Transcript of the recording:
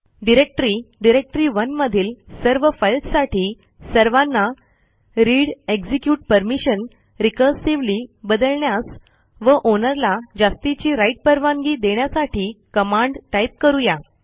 directory डायरेक्टरी1 मधील सर्व फाईल्ससाठी सर्वांना readएक्झिक्युट परमिशन रिकर्सिव्हली बदलण्यास व आउनर ला जास्तीची राइट परवानगी देण्यासाठी कमांड टाइप करू या